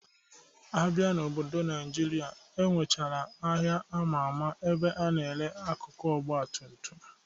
Abịa n'obodo Naịjirịa, enwechara ahịa ama ama ebe a na-ere akụkụ Ọgbatumtum